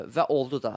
Və oldu da.